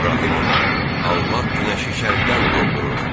İbrahim ona: Allah günəşi şərqdən doğdurur.